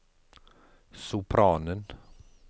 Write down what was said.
sopranen